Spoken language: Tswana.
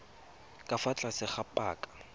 ka fa tlase ga paka